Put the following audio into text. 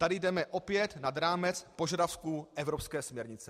Tady jdeme opět nad rámec požadavku evropské směrnice.